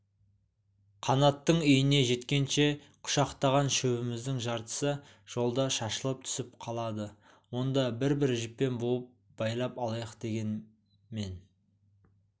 қанаттың үйіне жеткенше құшақтаған шөбіміздің жартысы жолда шашылып түсіп қалады онда бір-бір жіппен буып байлап алайық дегем мен